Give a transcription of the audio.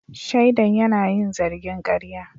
Shaidan yana yin zargin karya.